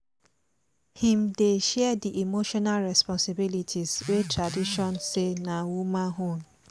him dey share the emotional respponsibilities wey traditiojn say na woman own